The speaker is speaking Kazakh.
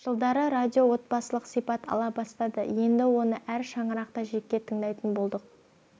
-жылдары радио отбасылық сипат ала бастады енді оны әр шаңырақта жеке тыңдайтын болдық